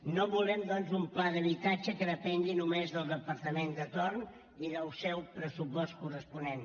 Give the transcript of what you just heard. no volem doncs un pla d’habitatge que depengui només del departament de torn i del seu pressupost corresponent